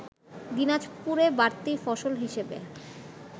দিনাজপুরে বাড়তি ফসল হিসেবে